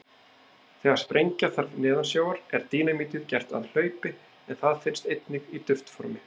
Þegar sprengja þarf neðansjávar er dínamítið gert að hlaupi en það finnst einnig í duftformi.